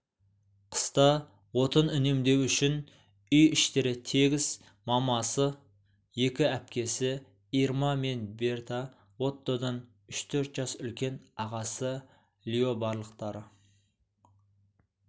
қыста отын үнемдеу үшін үй-іштері тегіс мамасы екі әпкесі ирма мен берта оттодан үш-төрт жас үлкен ағасы лиобарлықтары